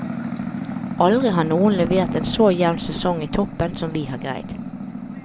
Aldri har noen levert en så jevn sesong i toppen som vi har greid.